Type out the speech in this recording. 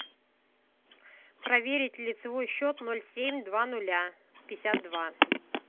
проверить лицевой счёт ноль семь два нуля пятьдесят два